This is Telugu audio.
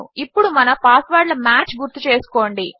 ఇప్పుడు మన పాస్వర్డ్ల మ్యాచ్ గుర్తుచేసుకోండి